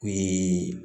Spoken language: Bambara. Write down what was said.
O ye